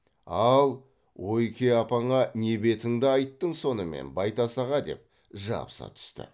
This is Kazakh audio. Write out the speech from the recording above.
ал ойке апаңа не бетіңді айттың сонымен байтас аға деп жабыса түсті